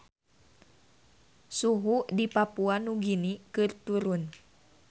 Suhu di Papua Nugini keur turun